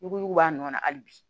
N'u ko k'u b'a nɔ na hali bi